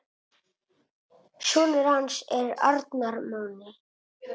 Sonur hans er Arnar Máni.